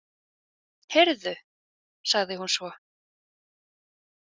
Heyrðu, sagði hún svo.